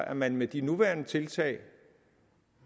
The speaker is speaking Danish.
at man med de nuværende tiltag